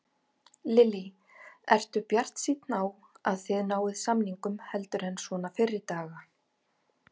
Lillý: Ertu bjartsýnn á að þið náið samningum heldur en svona fyrri daga?